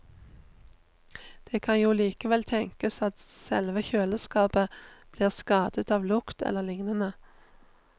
Det kan jo likevel tenkes at selve kjøleskapet blir skadet av lukt eller lignende.